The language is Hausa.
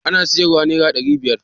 Ana siyar wa nera ɗari biyar